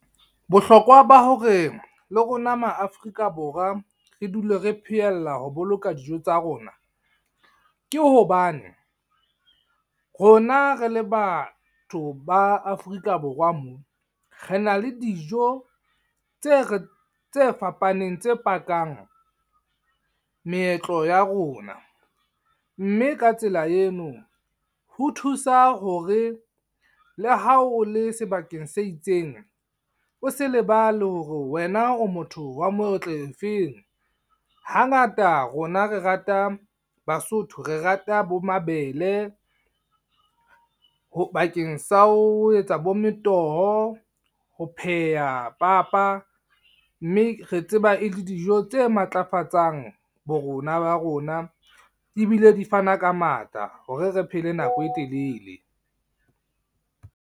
Bohlokwa ba hore le rona ma Afrika Borwa, re dule re pheella ho boloka dijo tsa rona. Ke hobane rona re le batho ba Afrika Borwa mona. Re na le dijo tse tse fapaneng tse pakang meetlo ya rona. Mme ka tsela eno, ho thusa hore le ha o le sebakeng se itseng. O se lebale hore wena o motho wa moetlo o feng. Hangata rona re rata Basotho, re rata bo mabele. Bakeng sa ho etsa bo metoho, ho pheha papa. Mme re tseba e le dijo tse matlafatsang bo rona ba rona. Ebile di fana ka matla hore re phele nako e telele.